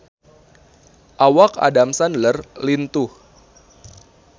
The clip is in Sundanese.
Awak Adam Sandler lintuh